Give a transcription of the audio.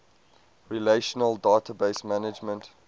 relational database management